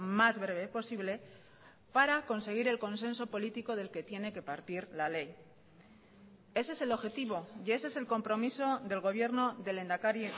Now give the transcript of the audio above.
más breve posible para conseguir el consenso político del que tiene que partir la ley ese es el objetivo y ese es el compromiso del gobierno del lehendakari